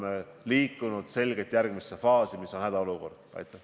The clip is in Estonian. See paraku on üks osa sellest probleemist, et inimesed muutuvad ebakindlaks.